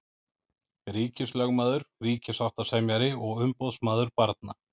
Ríkislögmaður, ríkissáttasemjari og umboðsmaður barna.